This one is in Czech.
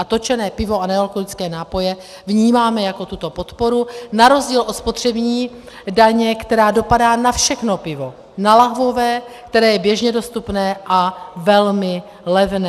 A točené pivo a nealkoholické nápoje vnímáme jako tuto podporu, na rozdíl od spotřební daně, která dopadá na všechno pivo, na lahvové, které je běžně dostupné a velmi levné.